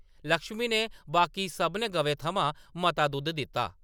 ” लक्ष्मी ने बाकी सभनें गवें थमां मता दुद्ध दित्ता ।